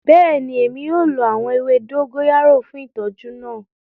Bẹẹni, Emi yoo lo awọn ewe dogoyara fun itọju naa.